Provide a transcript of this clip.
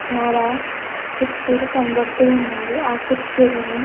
చాలా కుర్చీలు కనబడుతున్నవి. ఈ కుర్చీలను--